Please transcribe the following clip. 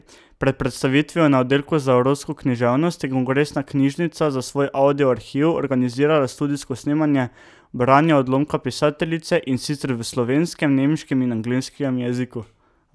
Pred predstavitvijo na oddelku za evropsko književnost je Kongresna knjižnica za svoj audio arhiv organizirala studijsko snemanje branja odlomka pisateljice, in sicer v slovenskem, nemškem in angleškem jeziku.